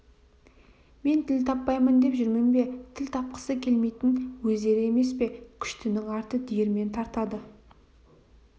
мен тіл таппаймын деп жүрмін бе тіл тапқысы келмейтін өздері емес пе күштінің арты диірмен тартады